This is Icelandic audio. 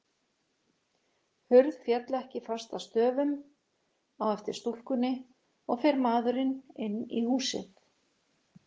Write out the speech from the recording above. Hurð féll ekki fast að stöfum á eftir stúlkunni, og fer maðurinn inn í húsið.